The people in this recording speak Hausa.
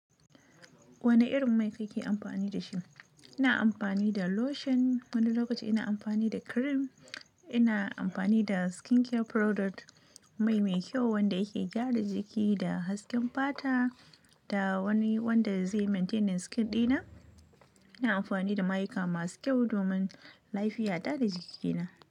Wane irin mai kake amfani da shi? Ina amfani da lotion, wani lokaci ina amfani da cream. Ina amfani da skincare product mai mai kyau wanda yake gyara jiki da hasken fata da wani wanda zai maintaining the skin dina. Ina amfani da mayuka masu kyau domin lafiya ta da jikina.